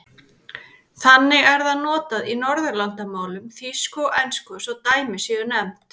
Þannig er það notað í Norðurlandamálum, þýsku og ensku svo dæmi séu nefnd.